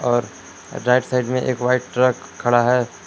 और right side में एक वाइट ट्रक खड़ा है।